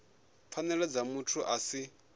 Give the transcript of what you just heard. pfanelo dza muthu a si